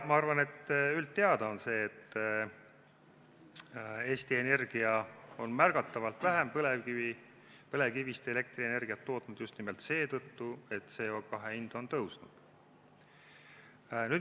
Ma arvan, et üldteada on see, et Eesti Energia on märgatavalt vähem põlevkivist elektrienergiat tootnud just nimelt seetõttu, et CO2 hind on tõusnud.